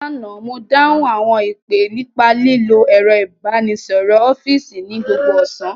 Lánàá, mo dáhùn àwọn ìpè nípa lílo ẹ̀rọ ìbánisọ̀rọ̀ ọ́fíìsì ní gbogbo ọ̀sán